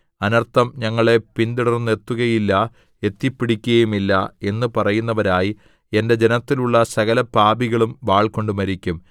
അനർത്ഥം ഞങ്ങളെ പിന്തുടർന്നെത്തുകയില്ല എത്തിപ്പിടിക്കുകയുമില്ല എന്നു പറയുന്നവരായി എന്റെ ജനത്തിലുള്ള സകലപാപികളും വാൾകൊണ്ടു മരിക്കും